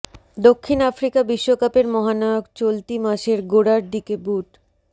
দক্ষিণ আফ্রিকা বিশ্বকাপের মহানায়ক চলতি মাসের গোড়ার দিকে বুট